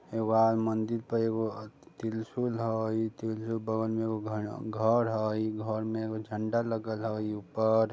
एगो आर मंदिर पर एगो त्रिशूल हय त्रिशूल के बगल में एगो घर हय इ घर में एगो झंडा लगल हय ऊपर।